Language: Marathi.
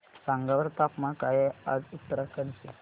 सांगा बरं तापमान काय आहे आज उत्तराखंड चे